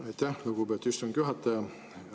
Aitäh, lugupeetud istungi juhataja!